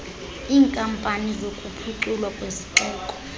iinkampani zokuphuculwa kwezixeko